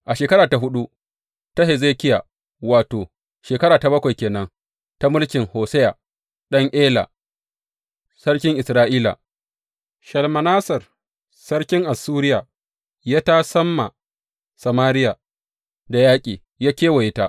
A shekara ta huɗu ta Hezekiya, wato, shekara ta bakwai ke nan ta mulkin Hosheya ɗan Ela sarkin Isra’ila; Shalmaneser Sarkin Assuriya ya tasam ma Samariya da yaƙi; ya kewaye ta.